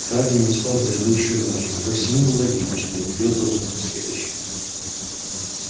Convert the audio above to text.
хардин не спал предыдущую ночь и по всему было видно что не придётся уснуть и в следующую